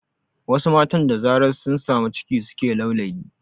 Wasu matan da zarar sun samu ciki suke laulayi